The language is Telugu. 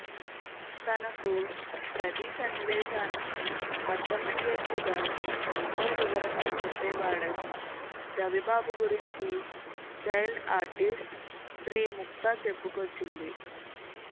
తనకు ప్రతీ సన్నివేశాన్ని అర్థమయ్యేట్లుగా ఎంతో వివరంగా చెప్పేవాడని రవిబాబు గురించి చైల్డ్ ఆర్టిస్ట్ శ్రీ ముక్తా చెప్పుకొచ్చింది